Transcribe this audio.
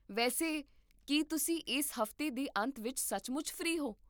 ਵੈਸੇ, ਕੀ ਤੁਸੀਂ ਇਸ ਹਫ਼ਤੇ ਦੇ ਅੰਤ ਵਿੱਚ ਸੱਚਮੁੱਚ ਫ੍ਰੀ ਹੋ?